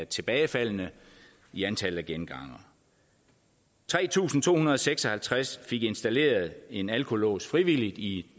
tilbagefald i antallet af gengangere tre tusind to hundrede og seks og halvtreds fik installeret en alkolås frivilligt i